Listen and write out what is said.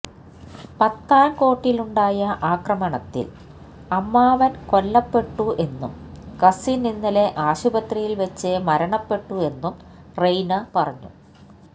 പത്താൻകോട്ടിലുണ്ടായ ആക്രമണത്തിൽ അമ്മാവൻ കൊല്ലപ്പെട്ടു എന്നും കസിൻ ഇന്നലെ ആശുപത്രിയിൽ വെച്ച് മരണപ്പെട്ടു എന്നും റെയ്ന പറഞ്ഞു